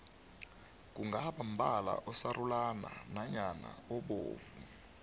kungaba mbala osarulana nyana obovu